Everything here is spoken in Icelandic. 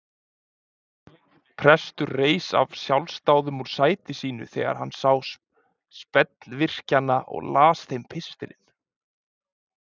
Prestur reis af sjálfsdáðum úr sæti sínu þegar hann sá spellvirkjana og las þeim pistilinn.